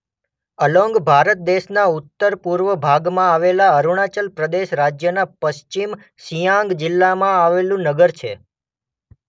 Along Bharat દેશના ઉત્તરપૂર્વ ભાગમાં આવેલા અરુણાચલ પ્રદેશ રાજ્યના પશ્ચિમ સિયાંગ જિલ્લામાં આવેલું નગર છે.